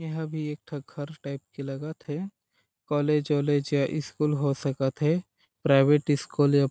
एहा भी एक ठ घर टाइप के लगा थे कॉलेज वॉलेज स्कूल हो सका थे प्राइवेट स्कूल